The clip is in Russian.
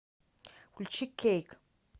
включи кейк